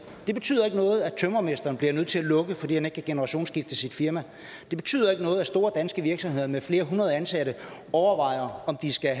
det betyder ikke noget at tømrermesteren bliver nødt til at lukke fordi han ikke kan generationsskifte sit firma det betyder ikke noget at store danske virksomheder med flere hundrede ansatte overvejer om de skal